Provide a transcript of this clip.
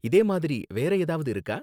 இதே மாதிரி வேற ஏதாவது இருக்கா?